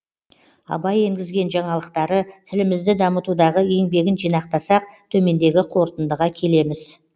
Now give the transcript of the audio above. абай енгізген жаңалықтары тілімізді дамытудағы еңбегін жинақтасақ төмендегі қорытындыға келеміз